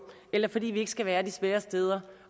eller fordi vi ikke skal være de svære steder